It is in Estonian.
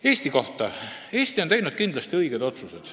Eesti kohta nii palju, et Eesti on kindlasti teinud õigeid otsuseid.